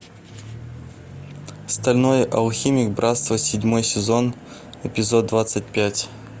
стальной алхимик братство седьмой сезон эпизод двадцать пять